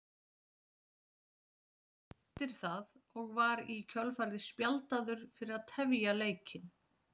Lá Argentínumaðurinn eftir það og var í kjölfarið spjaldaður fyrir að tefja leikinn.